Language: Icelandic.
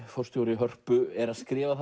forstjóri Hörpu er að skrifa